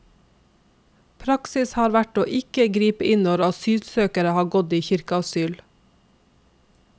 Praksis har vært å ikke gripe inn når asylsøkere har gått i kirkeasyl.